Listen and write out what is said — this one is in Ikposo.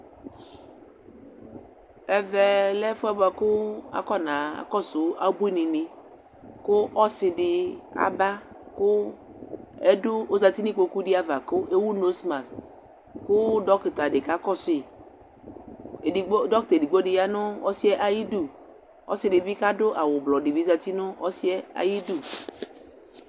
ɛvɛ lɛ ɛfuɛ boa kò afɔna kɔsu abuini ni kò ɔsi di aba kò ɛdu ozati n'ikpoku di ava k'ewu noz mask kò dɔkta di ka kɔsu yi edigbo dɔkta edigbo di ya no ɔsiɛ ayi du ɔsi di bi k'adu awu ublɔ di bi zati no ɔsiɛ ayi du.